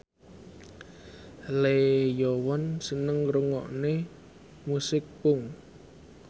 Lee Yo Won seneng ngrungokne musik punk